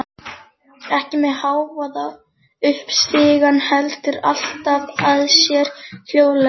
Ekki með hávaða upp stigann, heldur aftan að þér hljóðlega.